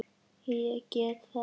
Ég get það ekki